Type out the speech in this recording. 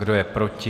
Kdo je proti?